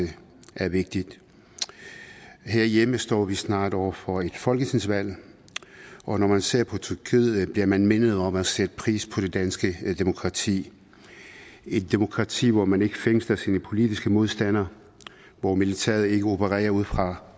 er vigtig herhjemme står vi snart over for et folketingsvalg og når man ser på tyrkiet bliver man mindet om at sætte pris på det danske demokrati et demokrati hvor man ikke fængsler sine politiske modstandere hvor militæret ikke opererer ud fra